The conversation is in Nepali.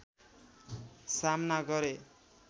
सामना गरे